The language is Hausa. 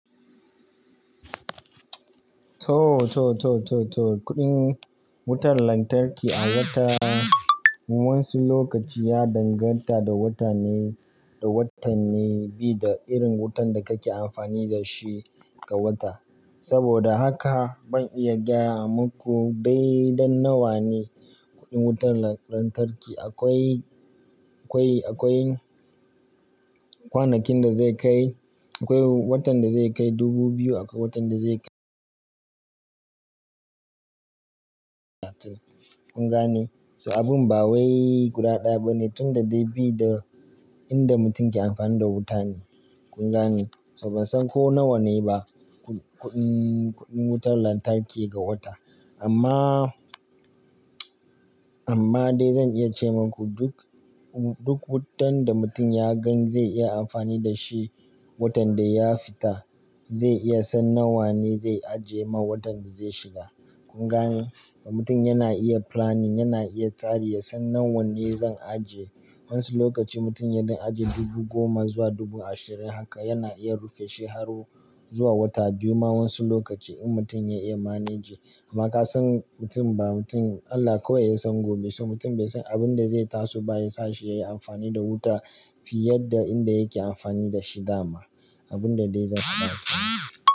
To, to, to, to, to. Kuɗin wutar lantarki a wata, wasu lokaci ya danganta da wata ne, da watanni bida irin wutan da kake amfani da shi ga wata. Saboda haka ban iya gaya maku daidan nawa ne kuɗin wutar lantarki. Akwai, akwai, akwai kwanakin da zai kai, akwai watan da zai kai dubu biyu, akwai watan da zai kai. Kun gane? So abin ba wai guda ɗaya ba ne, tunda dai bi da inda mutum yake amfani da wuta ne. Kun gane? So ban san ko nawa ne ba ku-kuɗin, kuɗin wutar lantarki ga wata. Amma, amma dai zan iya ce maku duk, duk wutan da mutum ya gan zai iya amfani da shi watan da ya fita, zai iya san nawa ne zai ajiye ma watan da zai shiga. Kun gane? Mutum yana iya planning, yana iya tari, ya san nawa ne zan ajiye. Wasu lokaci mutum ya don ajiye dubu goma zuwa dubu ashirin, haka yana iya rufe shi har zuwa wata biyu ma wasu lokaci in mutum ya iya manage. Amma ka san mutum ba mutum, Allah kawai ya san gobe. So mutum bai san abin da zai taso ba ya sa shi yayi amfani da wuta fiye da inda yake amfani da shi dama. Abun da dai zan faɗa kenan.